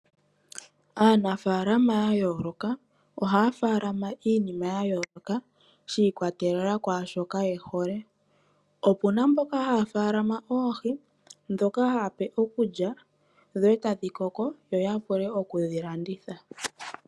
Aanafaalama ya yooloka ohaya faalama iinima ya yooloka shi ikwatelela kwaashoka ye hole. Opuna mboka haya faalama oohi ndhoka ha ya pe iikulya e ta dhi koko yo ya wape oku dhi landitha.